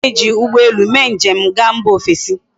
A ga eji ugbo ele mee nji ga mba ofesi